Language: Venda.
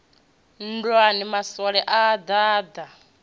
nndwani maswole a a ḓaḓa